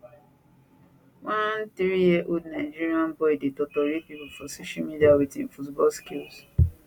one three year old nigerian boy dey totori pipo for social media with im football skills